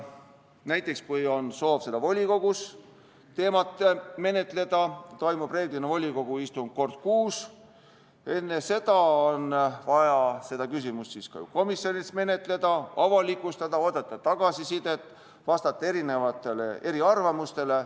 Näiteks, kui on soov seda teemat volikogus menetleda, siis volikogu istung toimub reeglina kord kuus, enne seda on vaja küsimust ka komisjonis menetleda, teema avalikustada, oodata tagasisidet, vastata eriarvamustele.